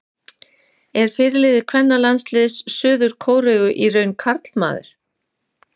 Er fyrirliði kvennalandsliðs Suður-Kóreu í raun karlmaður?